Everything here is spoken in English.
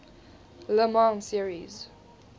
le mans series